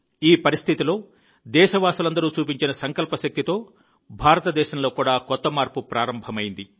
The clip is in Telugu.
ఈ పరిస్థితిలో దేశవాసులందరూ చూపించిన సంకల్ప శక్తితో భారతదేశంలో కూడా కొత్త మార్పు ప్రారంభమైంది